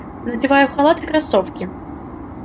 надеваю халат и кроссовки